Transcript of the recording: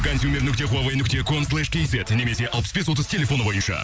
консюмер нүкте хуавей нүкте ком слэш кейзет немесе алпыс бес отыз телефоны бойынша